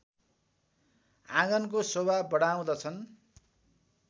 आँगनको शोभा बढाउँदछन्